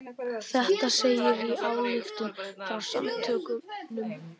Þetta segir í ályktun frá samtökunum